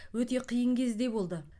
өте қиын кезде болды